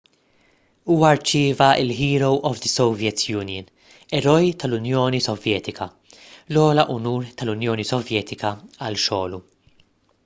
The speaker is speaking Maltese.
huwa rċieva l- "hero of the soviet union"” eroj tal-unjoni sovjetika l-ogħla unur tal-unjoni sovjetika għal xogħlu